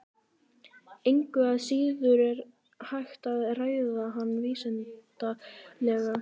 Engu að síður er hægt að ræða hana vísindalega.